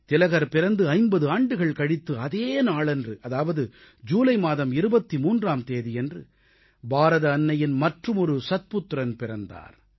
திலகர் பிறந்து 50 ஆண்டுகள் கழித்து அதே நாளன்று அதாவது ஜூலை மாதம் 23ஆம் தேதியன்று பாரத அன்னையின் மற்றுமொரு சத்புத்திரன் பிறந்தார்